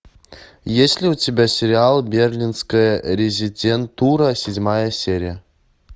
есть ли у тебя сериал берлинская резидентура седьмая серия